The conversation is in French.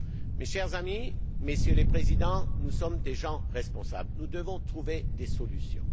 Mes chers amis, Messieurs les Présidents, nous sommes des gens responsables, nous devons trouver des solutions.